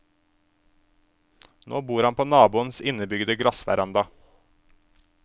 Nå bor han på naboens innebygde glassveranda.